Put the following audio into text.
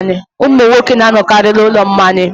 Ụmụ nwoke na-anọkarị n'ụlọ mmanya.